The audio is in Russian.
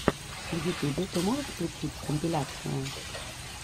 в ютубе ты можешь включить компиляции